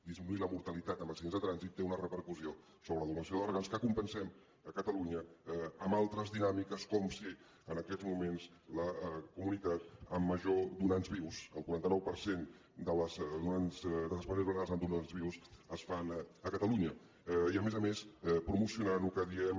disminuir la mortalitat en accidents de trànsit té una repercussió sobre la donació d’òrgans que compensem a catalunya amb altres dinàmiques com ser en aquests moments la comunitat amb major donants vius el quaranta nou per cent dels trasplantaments amb donants vius es fan a catalunya i a més a més promocionant el que en diem